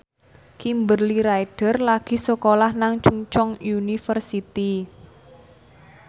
Kimberly Ryder lagi sekolah nang Chungceong University